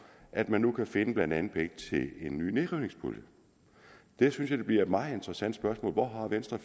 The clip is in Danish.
at man nu kan finde blandt andet penge til en ny nedrivningspulje jeg synes det bliver et meget interessant spørgsmål hvor venstre